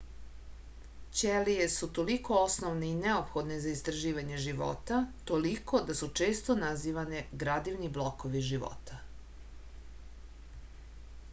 ćelije su toliko osnovne i neophodne za istraživanje života toliko da su često nazivane gradivni blokovi života